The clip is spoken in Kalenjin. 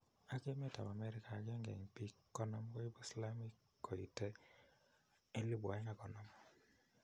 Ak emet ap amerika agenge en pik 50 koipu slamik koite 2050